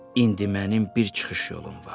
İndi mənim bir çıxış yolum var.